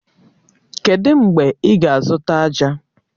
Kedụ mgbe ị ga-azụta ájá?